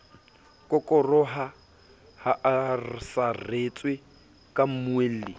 kokoroha a saretswe ha mmuelli